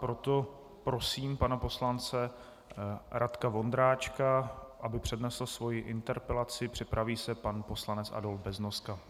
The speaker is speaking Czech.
Proto prosím pana poslance Radka Vondráčka, aby přednesl svoji interpelaci, připraví se pan poslanec Adolf Beznoska.